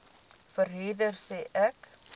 verhuurder sê ek